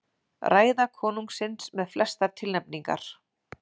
Ræða konungsins með flestar tilnefningar